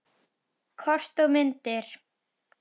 Kort og myndir